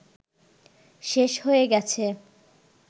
শেষ হয়ে গেছে